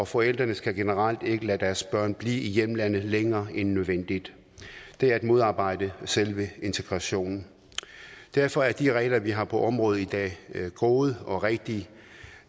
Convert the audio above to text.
forældrene skal generelt ikke lade deres børn blive i hjemlandet længere end nødvendigt det er at modarbejde selve integrationen derfor er de regler vi har på området i dag gode og rigtige